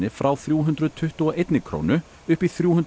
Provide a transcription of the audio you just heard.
frá þrjú hundruð tuttugu og eina krónu upp í þrjú hundruð